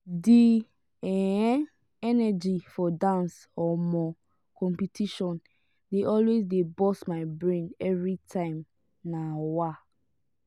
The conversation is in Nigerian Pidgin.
the um energy for dance um competition dey always dey burst my brain every time. um